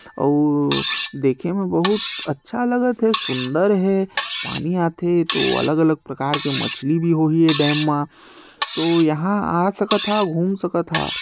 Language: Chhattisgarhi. अऊ देखे बहुत अच्छा लगा थे सुंदर हे पानी आथे तो अलग-अलग प्रकार के मछली भी होही ए डैम म तो यहाँ आ सकत हव घूम सकत हा।